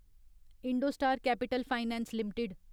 Indostar capital finance limited